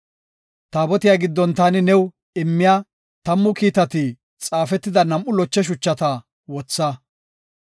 Taabotiya giddon taani new immiya, tammu kiitati xaafetida nam7u loche shuchata wotha.